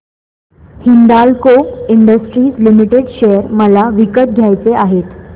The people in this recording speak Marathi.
हिंदाल्को इंडस्ट्रीज लिमिटेड शेअर मला विकत घ्यायचे आहेत